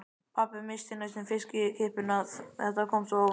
Pabbi missti næstum fiskkippuna, þetta kom svo óvænt.